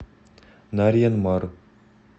нарьян мар